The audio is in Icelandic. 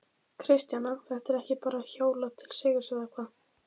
Kristjana, það er ekki bara hjólað til sigurs eða hvað?